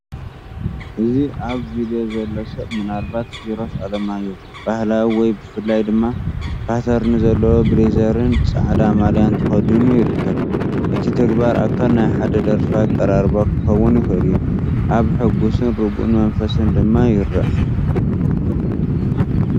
እቲ ኣብ ቪድዮ ዘሎ ሰብ (ምናልባት ኪርስ ኣለማዮህ) ባህላዊ ወይ ብፍላይ ድማ ፓተርን ዘለዎ ብሌዘርን ጻዕዳ ማልያን ተኸዲኑ ይርከብ። እቲ ተግባር ኣካል ናይ ሓደ ደርፊ ኣቀራርባ ክኸውን ይኽእል እዩ፣ ኣብ ሕጉስን ርጉእን መንፈስ ድማ ይረአ።